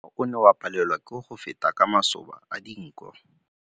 Mowa o ne o palelwa ke go feta ka masoba a dinko.